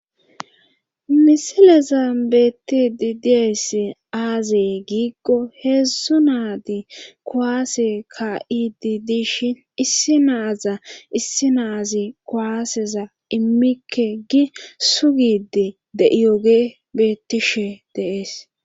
Misileza beetti di dies aazee giiggo heedzdzu naadi kowaase ka'idi dishin issi naaza issi naazi kuwaaseza immikke gi sugidi de'iyoge beettishe deees